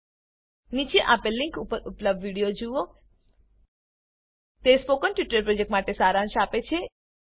નીચે આપેલ લીંક પર ઉપલબ્ધ વિડીયો જુઓ તે સ્પોકન ટ્યુટોરીયલ પ્રોજેક્ટનો સારાંશ આપે છે